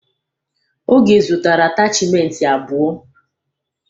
Oge zụtara atachimentị abụọ.